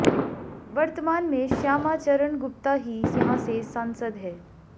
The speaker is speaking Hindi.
वर्तमान में श्यामाचरण गुप्ता ही यहां से सांसद हैं